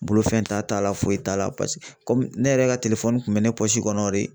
Bolofɛn t'a t'a la foyi t'a la paseke kɔmi ne yɛrɛ ka kun bɛ ne kɔnɔ de